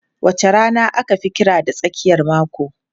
Wace rana aka fi kira da tsakiyar mako?